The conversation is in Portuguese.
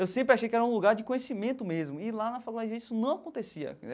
Eu sempre achei que era um lugar de conhecimento mesmo, e lá na Faculdade de Direito isso não acontecia.